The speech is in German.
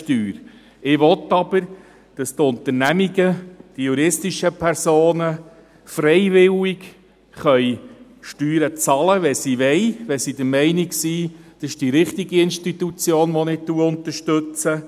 Ich will jedoch, dass die Unternehmungen, die juristischen Personen, freiwillig Kirchensteuern zahlen können, wenn sie dies wollen, wenn sie der Meinung sind, dass sie damit die richtige Institution unterstützen.